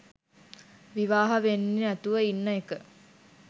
විවාහ වෙන්නේ නැතුව ඉන්න එක